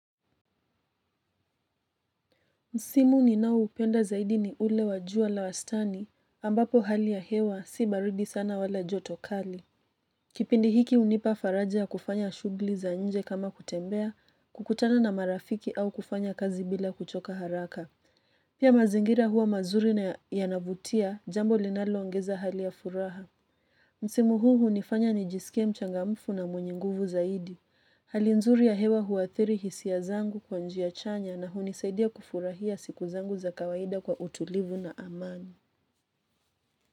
Msimu ninaoupenda zaidi ni ule wa jua la wastani ambapo hali ya hewa si baridi sana wala joto kali. Kipindi hiki hunipa faraja ya kufanya shughuli za nje kama kutembea, kukutana na marafiki au kufanya kazi bila kuchoka haraka. Pia mazingira huwa mazuri na yanavutia jambo linaloongeza hali ya furaha. Msimu huu hunifanya nijisikie mchangamfu na mwenye nguvu zaidi. Hali nzuri ya hewa huwathiri hisia zangu kwa njia chanya na hunisaidia kufurahia siku zangu za kawaida kwa utulivu na amani.